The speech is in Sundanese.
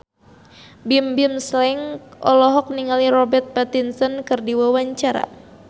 Bimbim Slank olohok ningali Robert Pattinson keur diwawancara